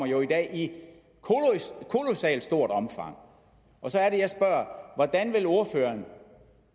jo i dag i kolossalt stort omfang så er det jeg spørger hvordan vil ordføreren